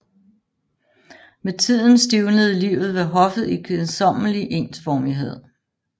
Med tiden stivnede livet ved hoffet i kedsommelig ensformighed